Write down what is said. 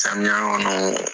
Samiya kɔnɔ